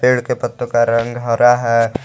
पेड़ के पत्तों का रंग हरा है।